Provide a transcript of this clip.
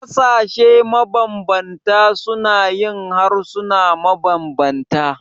Ƙasashe mabanbanta suna yin harsuna mabanbanta.